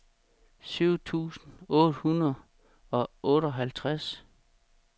syv tusind otte hundrede og otteoghalvtreds